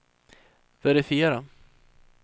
verifiera